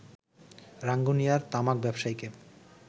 রাঙ্গুনিয়ার তামাক ব্যবসায়ীকে